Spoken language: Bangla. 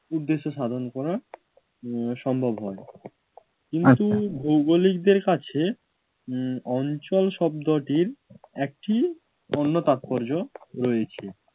উদ্দেশ্য সাধন করা উম সম্ভব হয়। কিন্তু ভৌগলিকদের কাছে উম অঞ্চল শব্দটির একটি অন্য তাৎপর্য রয়েছে।